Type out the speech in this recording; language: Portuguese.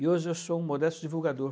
E hoje eu sou um modesto divulgador.